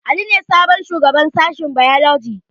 Ali ne sabon shugaban sashen bailoji